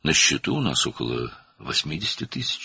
"Hesabımızda təxminən 80.000 var.